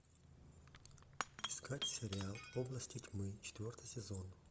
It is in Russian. искать сериал области тьмы четвертый сезон